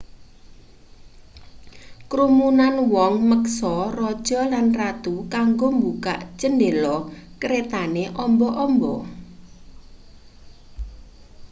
krumunan wong meksa raja lan ratu kanggo mbukak chendela kretane amba-amba